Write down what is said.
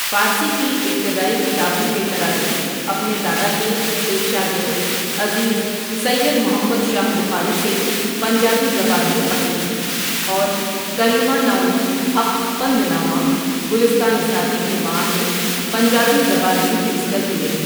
فارسی کی ابتدائی کتابوں کے تراجم اپنے دادا کے ایک شاگرد عزیز سید محمد شاہ بخاری سے پنجابی زبان میں پڑھے اور کریما نام حق پندنامہ گلستان سعدی کے معانی پنجابی زبان میں حفظ کرلئے ۔